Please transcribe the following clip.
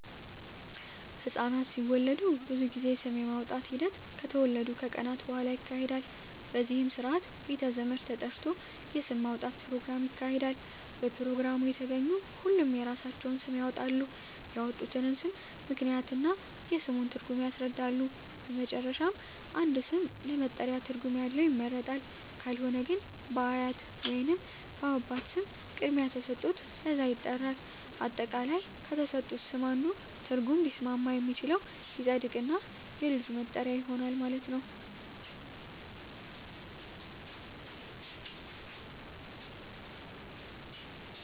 ህፃናት ሲወለዱ ብዙ ጊዜ ስም የማውጣት ሒደት ከተወለዱ ከቀናት በሁዋላ ይካሄዳል በዚህም ስርአት ቤተ ዘመድ ተጠርቶ የስም ማውጣት ኘሮግራም ይካሄዳል በፕሮግራሙ የተገኙ ሁሉም የራሳቸውን ስም ያወጣሉ ያወጡትንም ስም ምክንያት እና የስሙን ትርጉም ያስረዳሉ በመጨረሻም አንድ ስም ለመጠሪያ ትርጉም ያለው ይመረጣል ካልሆነ ግን በአያት ወይንም በአባት ስም ቅድሚያ ተሠጥቶት በዛ ይጠራል። አጠቃላይ ከተሠጡት ስም አንዱ ትርጉም ሊስማማ የሚችለው ይፀድቅ እና የልጁ መጠሪያ ይሆናል ማለት ነው።